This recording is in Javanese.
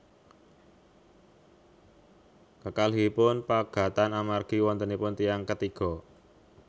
Kekalihipun pegatan amargi wontenipun tiyang ketiga